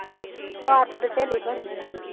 ਮੈ ਖਰੇ ਸਹੇਲੀ ਬਣੀ